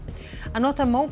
að nota